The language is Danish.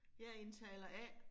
Jeg indtaler A